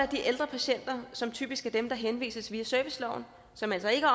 de ældre patienter som typisk er dem der henvises via serviceloven som altså ikke